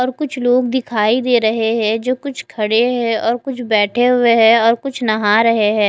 और कुछ लोग दिखाई दे रहे है जो कुछ खडे है जो कुछ बेठे हुए है जो कुछ नहा रहे है।